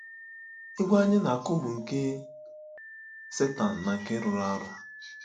Egwú anyị na-akụ bụ nke Setan na nke rụrụ arụ.